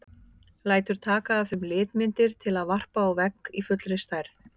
Lætur taka af þeim litmyndir til að varpa á vegg í fullri stærð.